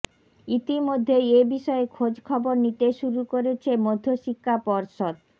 ইতিমধ্যেই এ বিষয়ে খোঁজখবর নিতে শুরু করেছে মধ্যশিক্ষা পর্ষদ